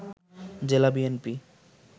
জেলা বিএনপি